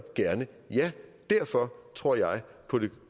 gerne ja derfor tror jeg på det